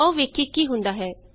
ਆਉ ਵੇਖੀਏ ਕੀ ਹੁੰਦਾ ਹੈ